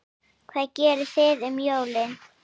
Hvað gerið þið um jólin?